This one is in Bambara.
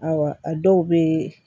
Awɔ a dɔw bɛ